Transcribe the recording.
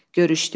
Görüşdük.